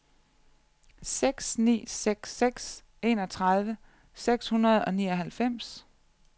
seks ni seks seks enogtredive seks hundrede og nioghalvfems